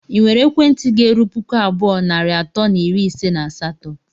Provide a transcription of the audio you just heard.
ị nwere ekwentị ga-erụ pụkụ abụọ nari atọ na iri ise na asatọ?